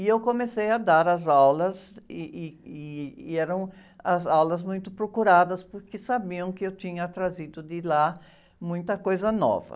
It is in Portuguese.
E eu comecei a dar as aulas, ih, ih, ih, e eram as aulas muito procuradas, porque sabiam que eu tinha trazido de lá muita coisa nova.